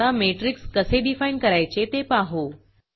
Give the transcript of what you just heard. आता मॅट्रिक्स कसे डिफाईन करायचे ते पाहू